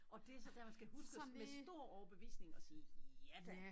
Og det så dér man skal huske og med stor overbevisning at sige ja da